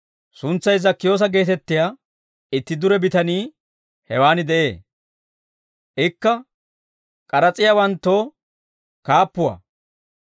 Suntsay Zakkiyoosa geetettiyaa itti dure bitanii hewaan de'ee. Ikka k'aras'iyaawanttoo kaappuwaa.